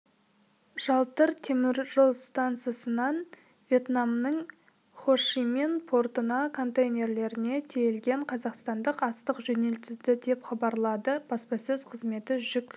жалтыр теміржол стансысынан вьетнамның хошимин портына контейнерлеріне тиелген қазақстандық астық жөнелтілді деп хабарлады баспасөз қызметі жүк